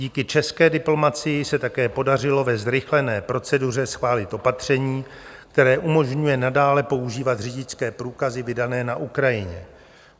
Díky české diplomacii se také podařilo ve zrychlené proceduře schválit opatření, které umožňuje nadále používat řidičské průkazy vydané na Ukrajině.